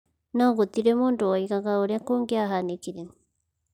No gũtirĩ mũndũ woigaga ũrĩa kũngĩahanĩkire.